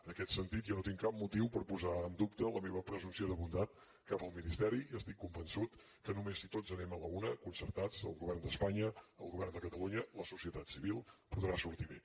en aquest sentit jo no tinc cap motiu per posar en dubte la meva presumpció de bondat cap al ministeri i estic convençut que només si tots anem a la una concertats el govern d’espanya el govern de catalunya la societat civil podrà sortir bé